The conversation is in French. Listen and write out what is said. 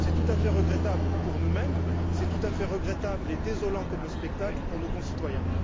C'est tout à fait regrettable pour nous mêmes, et c'est tout à fait regrettable et désolant comme spectacle pour nos concitoyens.